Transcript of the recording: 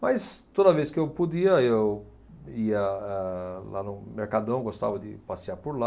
Mas, toda vez que eu podia, eu ia ah lá no Mercadão, gostava de passear por lá.